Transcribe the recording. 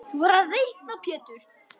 Þú verður að reikna Pétur.